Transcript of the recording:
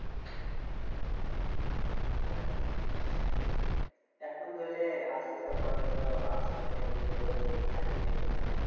হ্যাঁ এখন ধরলে আসতে আসতে বড় হচ্ছি তো আর আসতে আসতে enjoy তো হারিয়ে ফেলছি আমরা।